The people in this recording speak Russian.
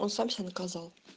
он сам себя наказал